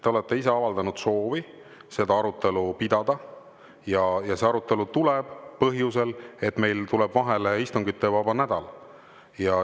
Te olete ise avaldanud soovi seda arutelu pidada ja see arutelu tuleb kohe põhjusel, et meil tuleb vahele istungivaba nädal.